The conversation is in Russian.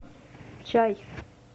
чай